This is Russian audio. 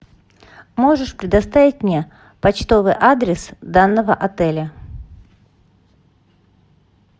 можешь предоставить мне почтовый адрес данного отеля